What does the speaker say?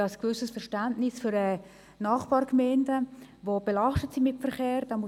Ich habe ein gewisses Verständnis für die Nachbargemeinden, die mit Verkehr belastet sind.